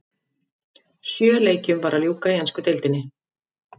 Sjö leikjum var að ljúka í ensku deildinni.